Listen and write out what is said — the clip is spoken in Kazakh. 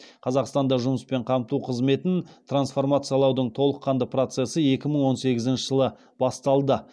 қазақстанда жұмыспен қамту қызметін трансформациялаудың толыққанды процесі екі мың он сегізінші жылы басталды